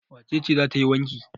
Wace ce za ta yi wanki?